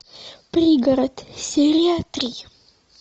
пригород серия три